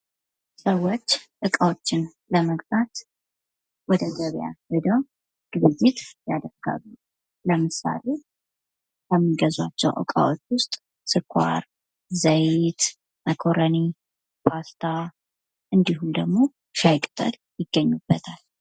ሰዎች እቃዎችን ለመግዛት ወደ ገበያ ሄደው ግብይት ያደርጋሉ። ለምሳሌ ከሚገዟቸው እቃዎች ውስጥ ስኳር፣ ዘይት፣ መኮረኒ ፣ፓስታ እንዲሁም ደግሞ ሻይ ቅጠል ይገኙበታል።